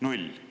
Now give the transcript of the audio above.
Null!